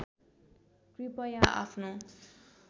कृपया आफ्नो